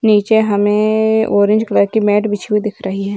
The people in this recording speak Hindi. नीचे हमें ऑरेंज कलर की मेट बिछी हुई दिख रही है।